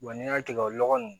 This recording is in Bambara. n'i y'a tigɛ nɔgɔ nunnu